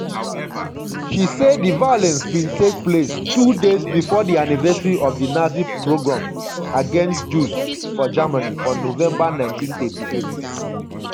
she say di violence bin take place two days bifor di anniversary of di nazi progrom against jews for germany for november 1938.